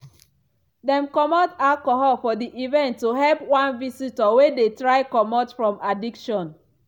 dem comot alcohol for the event to help one visitor wey dey try comot from addiction.